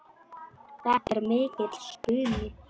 Þetta er mikill spuni.